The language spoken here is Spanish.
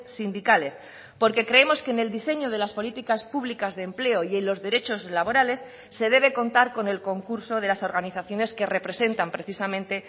sindicales porque creemos que en el diseño de las políticas públicas de empleo y en los derechos laborales se debe contar con el concurso de las organizaciones que representan precisamente